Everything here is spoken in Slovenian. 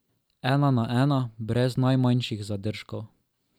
Ena na ena, brez najmanjših zadržkov.